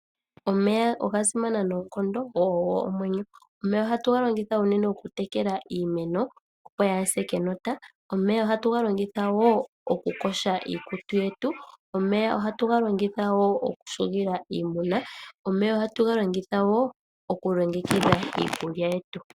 Omeya oga simana noonkondo go ogo omwenyo. Omeya ohatu ga longitha mokutekela iimeno opo yaahase Kenosha. Omeya ohatu ga longitha wo okukosha iikutu yetu. Omeya ohatu galongitha okuhugila iimuna. Ohatu ga longitha wo okulongekidha iikulya yetu.